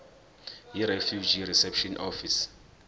yirefugee reception office